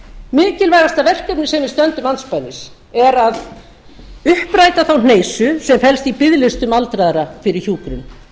mikilvægasta verkefnið sem við stöndum andspænis er að uppræta þá hneisu sem felst í biðlistum aldraðra fyrir hjúkrun